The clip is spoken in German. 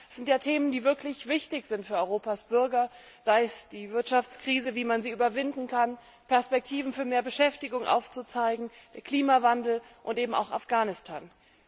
Es sind ja Themen, die wirklich wichtig sind für Europas Bürger, sei es die Wirtschaftskrise, wie man sie überwinden kann, Perspektiven für mehr Beschäftigung aufzuzeigen, Klimawandel, und eben auch Afghanistan.